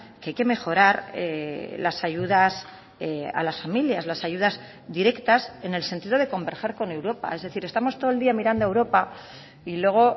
que hay que mejorar las ayudas a las familias las ayudas directas en el sentido de converger con europa es decir estamos todo el día mirando a europa y luego